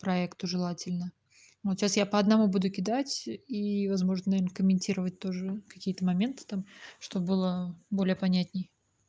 проекту желательно вот сейчас я по одному буду кидать и возможно им комментировать тоже какие-то моменты там что бы было более понятней